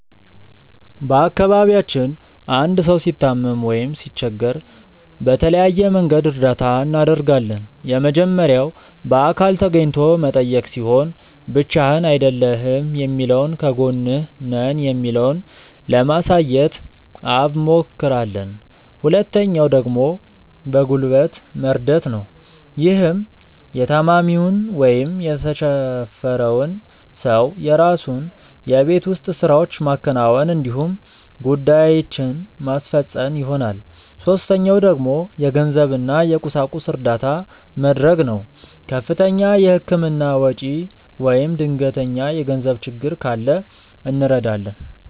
በአካባቢያችን አንድ ሰው ሲታመም ወይም ሲቸገር በተለያየ መንገድ እርዳታ እናደርጋለን። የመጀመሪያው በአካል ተገኝቶ መጠየቅ ሲሆን ብቻህን አይደለህም የሚለውን ከጎንህ ነን የሚለውን ለማሳየት አብሞክራለን። ሁለተኛው ደግሞ በጉልበት መርደት ነው። ይህም የታማሚውን ወይም የተቸፈረውን ሰው የራሱን የቤት ውስጥ ስራዎች ማከናወን እንዲሁም ጉዳዬችን ማስፈፀን ይሆናል። ሶስተኛው ደግሞ የገንዘብ እና የቁሳቁስ እርዳታ መድረግ ነው። ከፍተኛ የህክምና ወጪ ወይም ድንገተኛ የገንዘብ ችግር ካለ እንረዳለን።